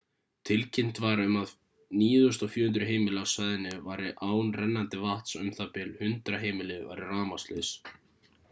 tilkynnt var um að 9.400 heimili á svæðinu væru án rennandi vatns og u.þ.b. 100 heimili væru rafmagnslaus